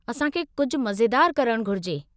असांखे कुझु मज़ेदारु करणु घुरिजे।